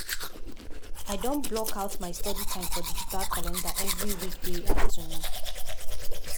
him dey share him todo lost digitally with colleague make them for track their progress together.